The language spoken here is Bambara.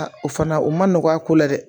o fana o ma nɔgɔn a ko la dɛ